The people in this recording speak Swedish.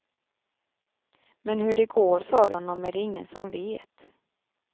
Men hur det går för honom är det ingen som vet.